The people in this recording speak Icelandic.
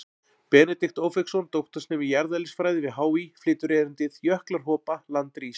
Benedikt Ófeigsson, doktorsnemi í jarðeðlisfræði við HÍ, flytur erindið: Jöklar hopa, land rís.